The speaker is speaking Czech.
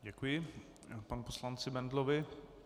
Děkuji panu poslanci Bendlovi.